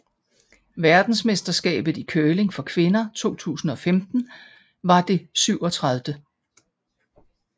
Verdensmesterskabet i curling for kvinder 2015 var det 37